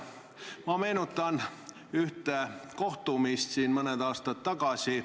Ma meenutan ühte kohtumist siin mõned aastad tagasi.